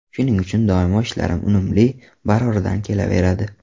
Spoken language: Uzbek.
Shuning uchun doimo ishlarim unumli, baroridan kelaveradi.